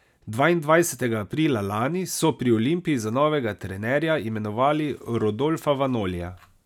Dvaindvajsetega aprila lani so pri Olimpiji za novega trenerja imenovali Rodolfa Vanolija.